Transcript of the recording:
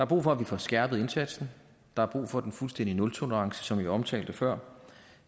brug for at vi får skærpet indsatsen der er brug for en fuldstændig nultolerance som jeg omtalte før